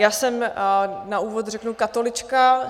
Já jsem, na úvod řeknu, katolička.